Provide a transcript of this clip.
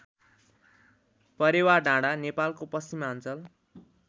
परेवाडाँडा नेपालको पश्चिमाञ्चल